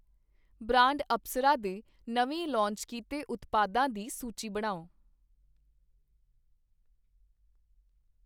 Brand Apsara ਦੇ ਨਵੇਂ launch ਕੀਤੇ ਉਤਪਾਦਾਂ ਦੀ ਸੂਚੀ ਬਣਾਓ?